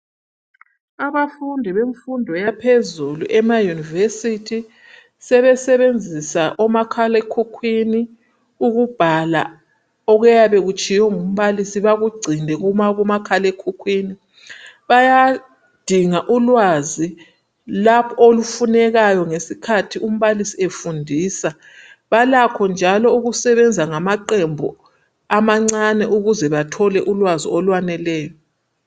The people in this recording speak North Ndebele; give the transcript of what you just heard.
Abafundi bemfundo yaphezulu, emauniversity, sebesebenzisa omakhalekhukhwIni ukubhaka okuyabe kutshiwo ngumbalisi, bakugcine kumakhalekhukhwini, lapho umbalisi efundisa. Balakho njalo ukusebenza ngamaqembu amancane ukuze bathole ulwazi olwaneleyo.